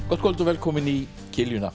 gott kvöld og velkomin í